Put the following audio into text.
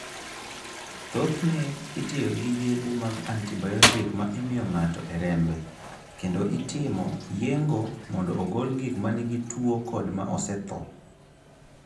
Thothne itiyo gi yedhe mag antibayotik ma imiyo ng'ato e rembe, kendo itimo yeng'o mondo ogol gik ma nigi tuwo kod ma osetho.